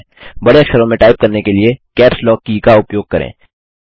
बड़े अक्षरों में टाइप करने के लिए कैप्स लॉक की का उपयोग करें